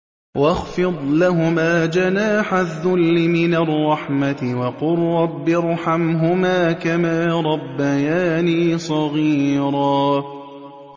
وَاخْفِضْ لَهُمَا جَنَاحَ الذُّلِّ مِنَ الرَّحْمَةِ وَقُل رَّبِّ ارْحَمْهُمَا كَمَا رَبَّيَانِي صَغِيرًا